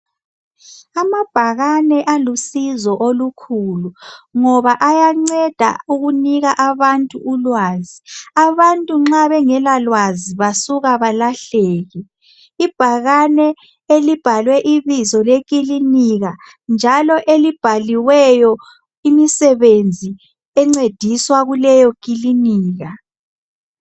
Amabhakane alusizo olukhulu ngoba ayanceda ukunika abantu ulwazi . Abantu nxa bengela lwazi basuka balahleke .Ibhakane elibhalwe ibizo lekilinika .Njalo elibhaliweyo imisebenzi encediswa kuleyo kilinika .